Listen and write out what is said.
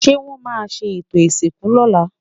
ṣé wón má sé eto ìsìnkú lọla?